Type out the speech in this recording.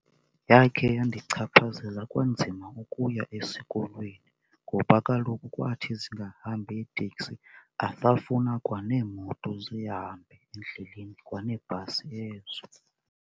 Yakhe yandichaphazela kwanzima ukuya esikolweni ngoba kaloku kwathi zingahambi iitekisi azafuna kwa neemoto zihambe endleleni, kwa neebhasi ezo.